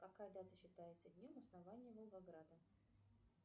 какая дата считается днем основания волгограда